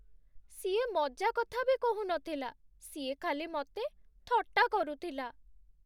ସିଏ ମଜାକଥା ବି କହୁନଥିଲା, ସିଏ ଖାଲି ମତେ ଥଟ୍ଟା କରୁଥିଲା ।